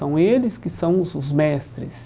São eles que são os os mestres.